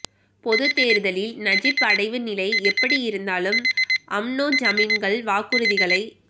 பொதுத் தேர்தலில் நஜிப் அடைவு நிலை எப்படி இருந்தாலும் அம்னோ ஜமீன்கள் வாக்குறுதிகளை